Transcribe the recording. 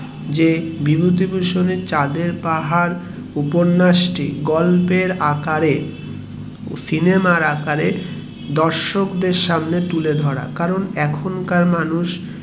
বিভূতিভূষণ বন্দোপাধ্যায়ের চাঁদের পাহাড় এর গল্পের আকারে সিনেমার আকারে দর্শক এর সামনে তুলে ধরা কারণ এখনকার মানুষ